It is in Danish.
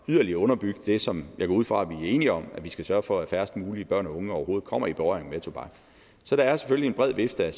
yderligere at underbygge det som jeg går ud fra at vi er enige om nemlig at vi skal sørge for at færrest mulige børn og unge overhovedet kommer i berøring med tobak så der er selvfølgelig en bred vifte af